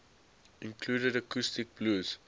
included acoustic blues